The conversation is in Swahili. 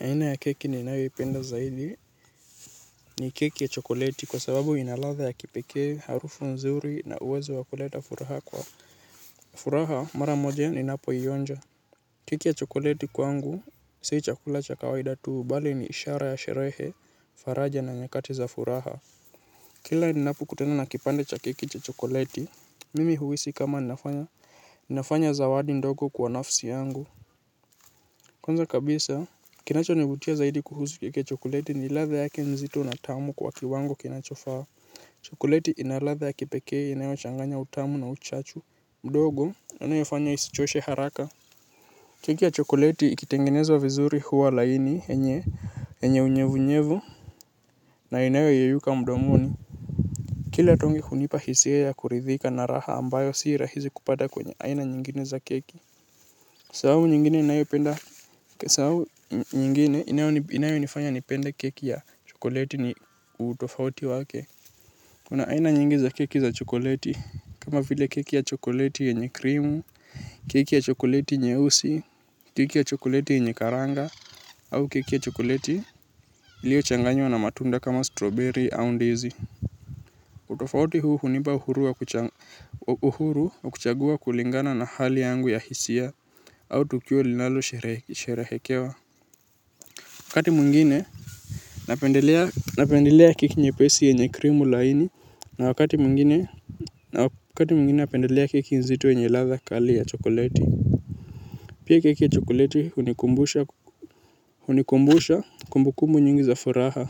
Aina ya keki ninaipenda zaidi ni keki ya chokoleti kwa sababu ina ladha ya kipekee, harufu nzuri na uwezo wa kuleta furaha kwa. Furaha mara moja ninapoionja. Keki ya chokoleti kwangu, sio chakula cha kawaida tu, bali ni ishara ya sherehe, faraja na nyakati za furaha. Kila ninapokutana na kipande cha keki ya chokoleti, mimi huhisi kama nafanya, nafanya zawadi ndogo kwa nafsi yangu. Kwanza kabisa, kinachonivutia zaidi kuhusu keki ya chokoleti ni ladha yake mzito na tamu kwa kiwango kinachofaa. Chokoleti ina ladha ya kipekee inayochanganya utamu na uchachu. Mdogo, yanayofanya isichoshe haraka? Keki ya chokoleti ikitengenezwa vizuri huwa laini yenye, yenye unyevunyevu, na inayoyeyuka mdomoni. Kila tongi hunipa hisia ya kuridhika na raha ambayo si rahisi kupata kwenye aina nyingine za keki. Sababu inayonifanya nipende keki ya chokoleti ni utofauti wake. Kuna aina nyingi za keki za chokoleti. Kama vile keki ya chokoleti yenye krimu keki ya chokoleti nyeusi keki ya chokoleti yenye karanga au keki ya chokoleti iliyochanganywa na matunda kama strawberry au ndizi. Utofauti huu hunipa uhuru wa kuchagua kulingana na hali yangu ya hisia. Au tukio linalosherehekea wakati mwingine napendelea keki nyepesi yenye krimu laini na wakati mwingine napendelea keki nzito yenye ladha kali ya chokoleti. Pia keki ya chokoleti hunikumbusha kumbu kumbu nyingi za furaha.